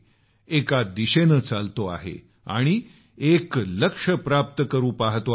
एका दिशेनं चालतो आहे आणि एक लक्ष्य प्राप्त करू पाहतो आहे